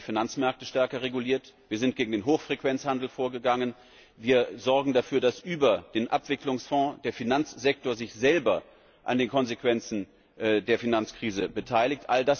Aber wir haben die Finanzmärkte stärker reguliert, wir sind gegen den Hochfrequenzhandel vorgegangen, wir sorgen dafür, dass über den Abwicklungsfonds der Finanzsektor sich selber an den Konsequenzen der Finanzkrise beteiligt.